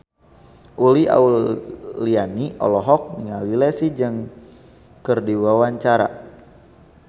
Uli Auliani olohok ningali Leslie Cheung keur diwawancara